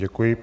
Děkuji.